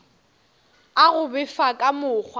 a go befa ka mokgwa